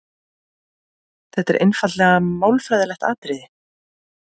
Þetta er einfaldlega málfræðilegt atriði.